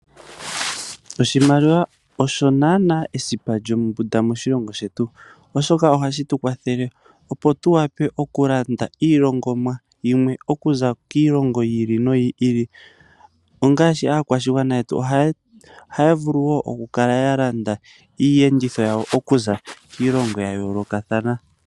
Oshimaliwa osho naana esipa lyombunda moshilongo shetu, oshoka ohashi tukwathele opo tuwape okulanda iilongomwa yimwe okuza kiilongo yi ili noyi ili ngaashi aakwashigwana yetu ohaya vulu woo okukala ya landa iiyenditho okuza kiilongo ya yoolokathana.